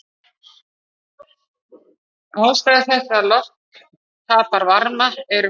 Ástæður þess að loft tapar varma eru fleiri.